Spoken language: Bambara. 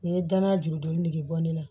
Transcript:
U ye danaya juru dɔni ne bɔ ne la